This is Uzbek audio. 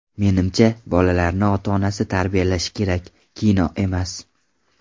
Menimcha, bolalarni ota-onasi tarbiyalashi kerak, kino emas.